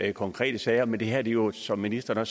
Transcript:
i konkrete sager men det her er jo som ministeren